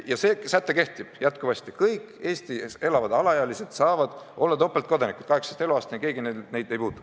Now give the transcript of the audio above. Ja see säte kehtib praegugi: kõik Eestis elavad alaealised saavad olla topeltkodanikud 18. eluaastani, keegi neid ei puutu.